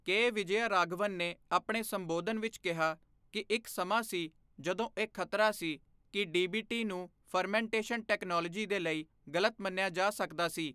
ਕੇ ਵਿਜੈਯਰਾਘਵਨ ਨੇ ਆਪਣੇ ਸੰਬੋਧਨ ਵਿੱਚ ਕਿਹਾ ਕਿ ਇੱਕ ਸਮਾਂ ਸੀ ਜਦੋਂ ਇਹ ਖ਼ਤਰਾ ਸੀ ਕਿ ਡੀਬੀਟੀ ਨੂੰ ਫਰਮੈਂਟੇਸ਼ਨ ਟੈਕਨੋਲੋਜੀ ਦੇ ਲਈ ਗ਼ਲਤ ਮੰਨਿਆ ਜਾ ਸਕਦਾ ਸੀ।